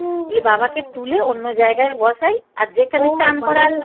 লে বাবাকে তুলে অন্য জায়গায় বসাই আর যেখানে চান